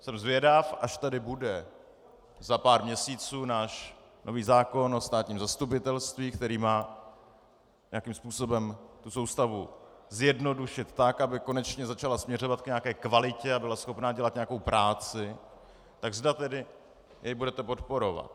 Jsem zvědav, až tady bude za pár měsíců náš nový zákon o státním zastupitelství, který má nějakým způsobem tu soustavu zjednodušit tak, aby konečně začala směřovat k nějaké kvalitě a byla schopna dělat nějakou práci, tak zda tedy jej budete podporovat.